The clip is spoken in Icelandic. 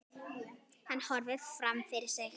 Hann horfir fram fyrir sig.